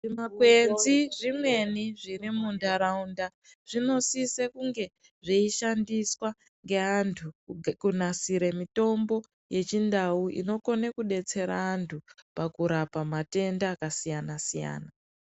Zvimakwenzi zvimweni zviri mundaraunda zvinosisa kunge zveishandiswa ngeandu pakunasira mitombo yechindau inokona kudetsera antu pakurapa matenda akasiyana siyana.